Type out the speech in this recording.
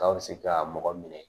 Ka bɛ se ka mɔgɔ minɛ